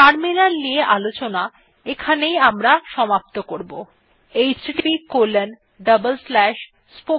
terminal নিয়ে আলোচনা এখানেই আমরা সমাপ্ত করবো